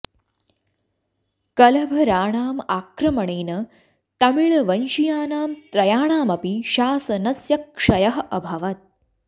कलभराणाम् आक्रमणेन तमिळ्वंशीयानां त्रयाणाम् अपि शासनस्य क्षयः अभवत्